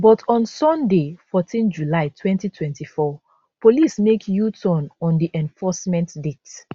but on sunday 14 july 2024 police make uturn on di enforcement date